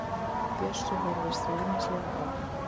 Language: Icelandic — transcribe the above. Bjössi horfir stríðnislega á hann.